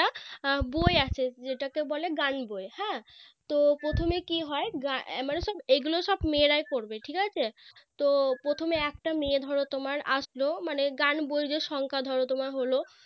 বই আছে যেটাকে বলে গান বই হ্যাঁ তো প্রথমে কি হয় গ্রা এর মানে সব এগুলো সব মেয়েরাই পড়বে ঠিক আছে তো প্রথমে একটা মেয়ে ধরো তোমার আসলো মানে গান বই যে সংখ্যা ধরো তোমার হলো